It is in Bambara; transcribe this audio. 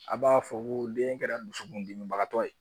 A b'a fɔ ko den kɛra dusukundimibagatɔ ye